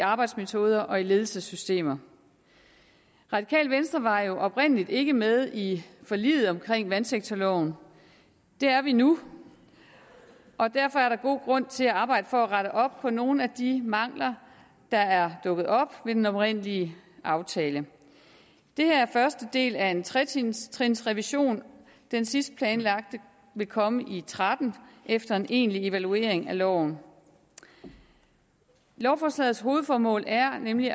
arbejdsmetoder og ledelsessystemer radikale venstre var jo oprindelig ikke med i forliget om vandsektorloven det er vi nu og derfor er der god grund til at arbejde for at rette op på nogle af de mangler der er dukket op ved den oprindelige aftale det her er første del af en tretrinsrevision den sidste planlagte vil komme i tretten efter en egentlig evaluering af loven lovforslagets hovedformål er nemlig